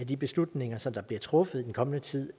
de beslutninger som der bliver truffet i den kommende tid